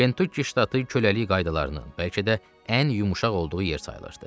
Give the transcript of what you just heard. Kentukki ştatı köləlik qaydalarının, bəlkə də, ən yumşaq olduğu yer sayılırdı.